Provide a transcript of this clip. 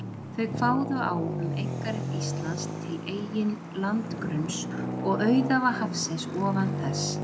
Þau kváðu á um einkarétt Íslands til eigin landgrunns og auðæfa hafsins ofan þess.